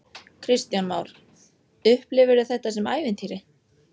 Kristján Már: Upplifirðu þetta sem ævintýri?